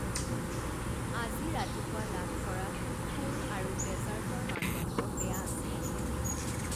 আজি ৰাতিপুৱা লাভ কৰা ফুল আৰু ডেজাৰ্টৰ মানদণ্ড বেয়া আছিল।